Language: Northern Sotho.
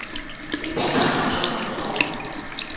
e phethagatšwa ka mokgwa woo